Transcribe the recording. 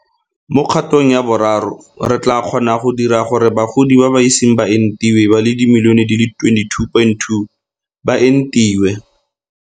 Mo Kgatong ya Boraro, re tla kgona go dira gore bagodi ba ba iseng ba entiwe ba le dimilione di le 22.5 ba entiwe.